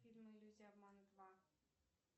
фильм иллюзия обмана два